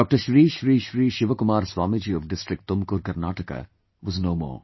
Shri Shri Shri ShivaKumar Swamiji of District Tumukur, Karnataka was no more